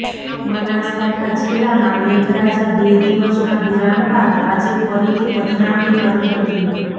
બનાસકાંઠા જિલ્લામાં મેઘરાજા બે દિવસના વિરામ બાદ આજે ફરીથી પધરામણી કરી હતી